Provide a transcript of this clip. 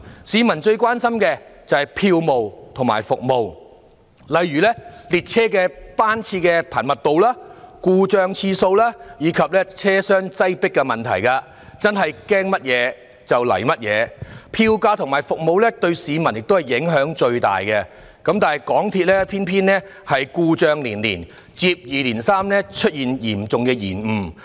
市民最關心的是票務和服務，例如列車班次的頻密度、故障次數及車廂擠迫等問題，真的是"驚乜就嚟乜"，票價和服務對市民影響最大，但港鐵卻故障連連，接二連三出現嚴重延誤。